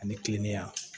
Ani kilennenya